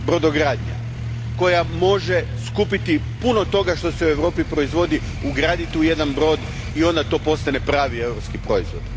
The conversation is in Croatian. Brodogradnja, koja može skupiti puno toga što se u Europi proizvodi, ugraditi u jedan brod i onda to postane pravi europski proizvod.